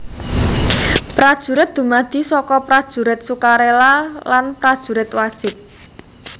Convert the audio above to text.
Prajurit dumadi saka Prajurit Sukarela lan Prajurit Wajib